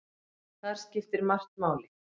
Þar skiptir margt máli.